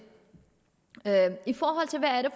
i forhold til hvad det